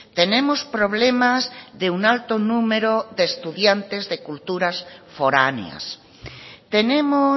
tenemos problemas de un alto número de estudiantes de culturas foráneas tenemos